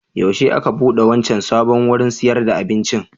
Yaushe aka buɗe wancan sabon wurin sayar da abincin?